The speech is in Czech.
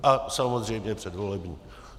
A samozřejmě předvolební.